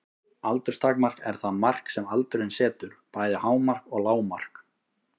Aldurstakmark er það mark sem aldurinn setur, bæði hámark og lágmark.